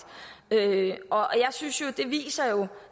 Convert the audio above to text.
jeg synes jo at det viser